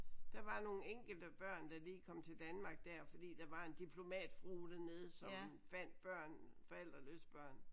Der var nogle enkelte børn da de kom til Danmark der fordi der var en dimplomatfrue dernede som fandt børn forældreløse børn